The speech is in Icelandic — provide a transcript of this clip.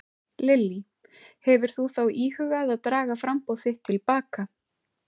Lillý: Hefur þú þá íhugað að draga framboð þitt til baka?